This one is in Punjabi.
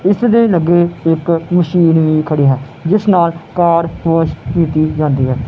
ਇੱਸ ਦੇ ਲੱਗੇ ਇੱਕ ਮਸ਼ੀਨ ਵੀ ਖੜੀ ਹੈ ਜਿੱਸ ਨਾਲ ਕਾਰ ਵੋਸ਼ ਕੀਤੀ ਜਾਂਦੀ ਹੈ।